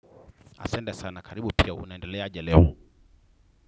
Asante sana karibu pia unaendelea aje leo.